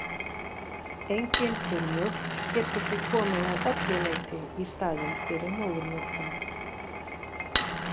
Engin þurrmjólk getur því komið að öllu leyti í staðinn fyrir móðurmjólkina.